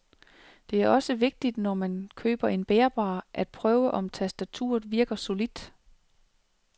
Det er også vigtigt, når man køber en bærbar, at prøve, om tastaturet virker solidt.